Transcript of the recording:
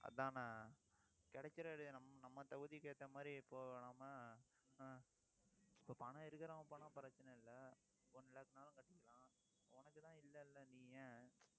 அதானே கிடைக்கிற இடம் நம்ம நம்ம தகுதிக்கு ஏத்த மாதிரி ஆஹ் இப்ப பணம் இருக்கிறவன் போனா பிரச்சனை இல்லை. one lakh னாலும் கட்டிக்குவான். உனக்குதான், இல்லைல்ல நீ ஏன்